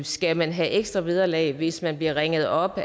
skal man have ekstra vederlag hvis man bliver ringet op